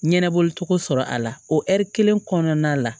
Ɲɛnɛbɔcogo sɔrɔ a la o ɛri kelen kɔnɔna la